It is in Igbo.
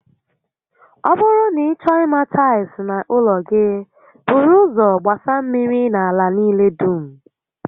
Ọ bụrụ na ị chọọ ima tails n'ụlọ gi, buru ụzọ gbasa mmiri na ala niile dum